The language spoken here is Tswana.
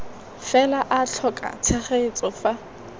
fela a tlhoka tshegetso fa